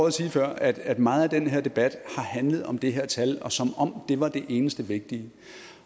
at sige før at at meget af den her debat har handlet om det her tal som om det var det eneste vigtige